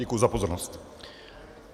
Děkuji za pozornost.